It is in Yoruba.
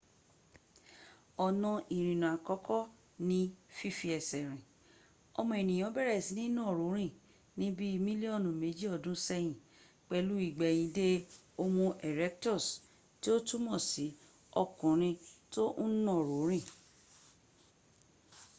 ọnà ìrìnà àkọ́kọ́ ni fífi ẹsẹ̀ rìn ọmọ ẹ̀nìyàn bẹ̀rẹ̀ sí ní nàró rín ní bí mílíọ́nù mẹjì ọdún ṣẹ́yìn pẹ̀lú ìgbẹ́ìnde homo erectus tí ó túnmọ̀ sí ọkùnrin tó ń nàró rìn